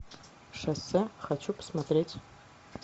шоссе хочу посмотреть